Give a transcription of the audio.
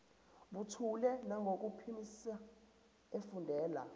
buthule nangokuphimisa efundela